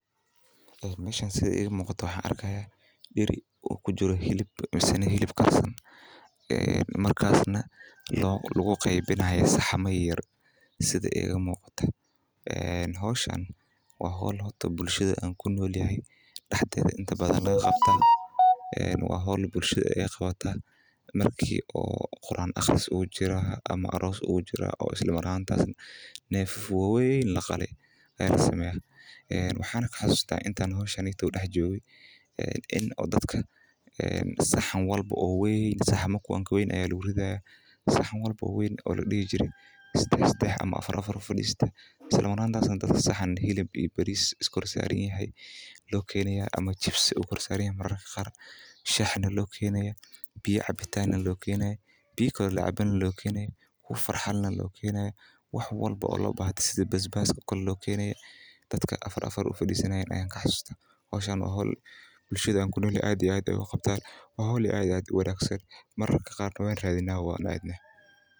Meeshan sida iiga muuqato waxaan arki haaya deri kujiro hilib fican oona lagu qeybini haayo saxamo waa howl bulshada dexdeeda laga sameeyo sida meel quran aqris ama aroos camal waxaa lakeena saxamo waweyn iyo shah iyo biyo cabitaan dadka afarfara ufadistaan waa howl aad iyo aad uwanagsan mararka qaar waan aadna oo Wan radina.